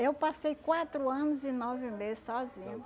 Eu passei quatro anos e nove meses sozinha.